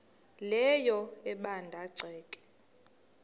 leyo ebanda ceke